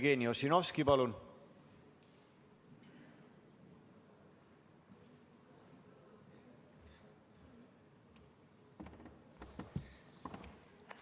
Jevgeni Ossinovski, palun!